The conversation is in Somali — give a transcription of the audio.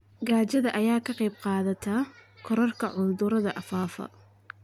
Gaajada ayaa ka qayb qaadata kororka cudurrada faafa.